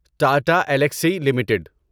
Tata Elxsi limited